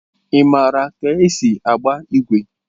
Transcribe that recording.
Ị maara ka esi agba igwe?